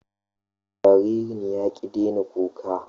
Jaririn ya ƙi daina kuka